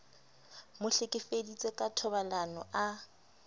mo hlekefeditse ka thobalano a